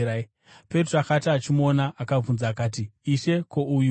Petro akati achimuona, akabvunza akati, “Ishe, ko, uyuwo?”